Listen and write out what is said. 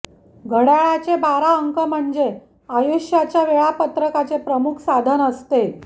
घड्याळाचे बारा अंक म्हणजे आयुष्याच्या वेळापत्रकाचे प्रमुख साधन असते